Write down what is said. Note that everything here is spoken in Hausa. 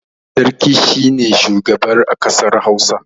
Sarki shi ne shugaba a kasar Hausa.